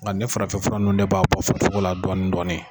Nka nin farafinfura nunnu de b'a bɔ farisogo la dɔɔnin dɔɔnin